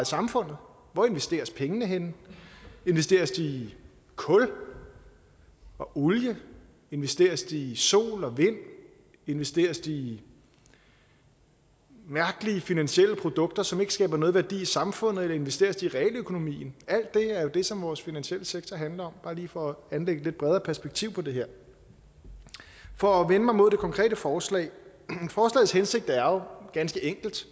samfundet hvor investeres pengene henne investeres de i kul og olie investeres de i sol og vind investeres de i mærkelige finansielle produkter som ikke skaber noget værdi for samfundet eller investeres de i realøkonomien alt det er jo det som vores finansielle sektor handler om bare lige for at anlægge et lidt bredere perspektiv på det her for at vende mig mod det konkrete forslag forslagets hensigt er jo ganske enkelt